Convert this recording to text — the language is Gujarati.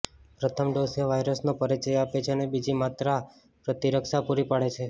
પ્રથમ ડોઝ એ વાયરસનો પરિચય આપે છે અને બીજી માત્રા પ્રતિરક્ષા પૂરી પાડે છે